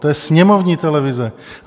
To je sněmovní televize.